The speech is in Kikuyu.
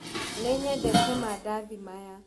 Nĩnyendete madathĩ maya.